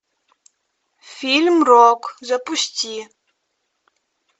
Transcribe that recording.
фильм рок запусти